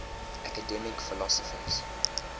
academic philosophers